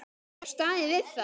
Ég hef staðið við það.